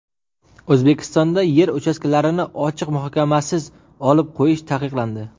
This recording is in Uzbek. O‘zbekistonda yer uchastkalarini ochiq muhokamasiz olib qo‘yish taqiqlandi.